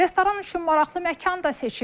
Restoran üçün maraqlı məkan da seçib.